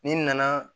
Ni nana